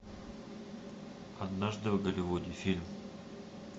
однажды в голливуде фильм